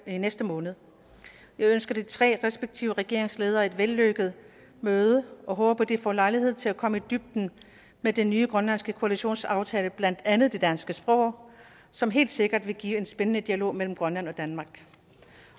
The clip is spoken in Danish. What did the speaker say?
i næste måned jeg ønsker de tre respektive regeringsledere et vellykket møde og håber at de får lejlighed til at komme i dybden med den nye grønlandske koalitionsaftale om blandt andet det danske sprog som helt sikkert vil give en spændende dialog mellem grønland og danmark